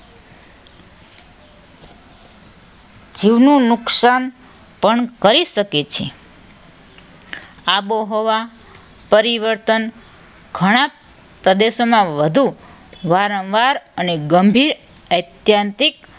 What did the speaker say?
જીવનું નુકસાન પણ કરી શકે છે. આબોહવા પરિવર્તન ઘણા પ્રદેશોમાં વધુ વારંવાર અને ગંભીર ઐત્યંતિક